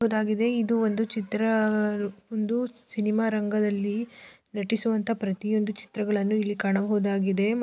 ಇದು ಒಂದು ಚಿತ್ರ ಅಹ್ ಒಂದು ಸಿನಿಮಾ ರಂಗದಲ್ಲಿ ಹ ನಟಿಸುವನಂಥ ಪ್ರತಿ ಒಂದು ಚಿತ್ರ ಗಳನ್ನೂ ಇಲ್ಲಿ ಕಾಣಬಹುದಾಗಿದೆ.